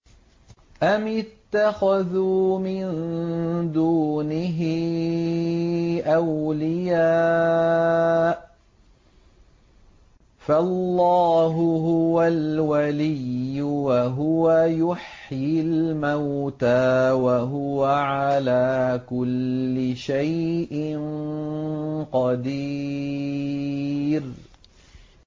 أَمِ اتَّخَذُوا مِن دُونِهِ أَوْلِيَاءَ ۖ فَاللَّهُ هُوَ الْوَلِيُّ وَهُوَ يُحْيِي الْمَوْتَىٰ وَهُوَ عَلَىٰ كُلِّ شَيْءٍ قَدِيرٌ